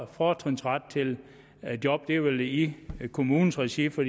fortrinsret til job det er vel i kommunens regi for